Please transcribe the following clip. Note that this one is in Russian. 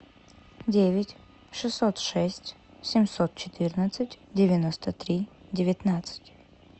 девять шестьсот шесть семьсот четырнадцать девяносто три девятнадцать